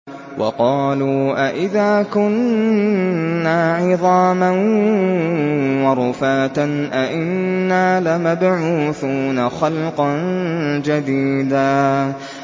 وَقَالُوا أَإِذَا كُنَّا عِظَامًا وَرُفَاتًا أَإِنَّا لَمَبْعُوثُونَ خَلْقًا جَدِيدًا